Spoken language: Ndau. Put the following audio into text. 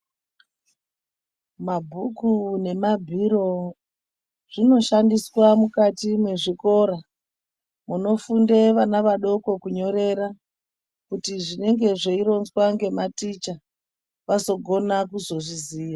Mabhuku nemabhiro zvinoshandiswa mukati mwezvikora kunofunde vana vadoko kunyorera kuti zvinenge zveironzwa ngematicha vazogona kuzo zviziya.